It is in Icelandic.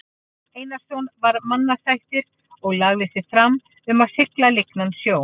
Einarsson var mannasættir og lagði sig fram um að sigla lygnan sjó.